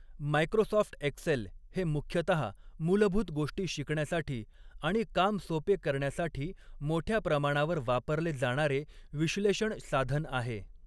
Microsoft Excel हे मुख्यतः मूलभूत गोष्टी शिकण्यासाठी आणि काम सोपे करण्यासाठी मोठ्या प्रमाणावर वापरले जाणारे विश्लेषण साधन आहे.